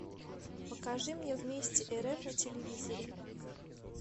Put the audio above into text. покажи мне вместе рф на телевизоре